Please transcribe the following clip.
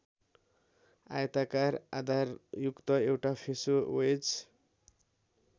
आयताकार आधारयुक्त एउटा फेसो वेज